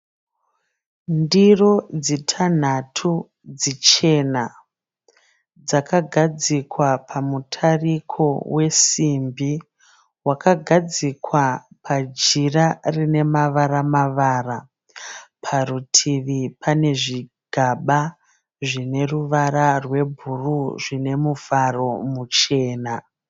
Ndiro dzitanhatu dzichena dzakagadzikwa pamutariko wesimbi wakagadzikwa pajira rine mavara mavara parutivi pane zvigaba zvine ruvara rwebhuruu zvine muvharo muchena.